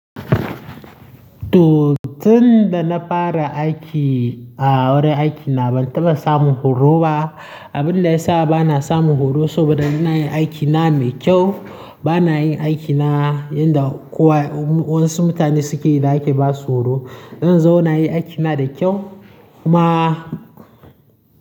To, tun da na fara aiki a wurin aikina ban taɓa samun horo ba. Abin da ya sa ba na samun horo saboda ina yin aikina mai kyau. Ba na yin aikina yanda kowa wasu mutane suke yi da ake ba su horo. Ina zaune nayi aikina da kyau kuma.